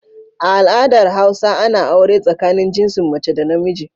A al adar hausa Ana aure tsakanin jinsin mace da namiji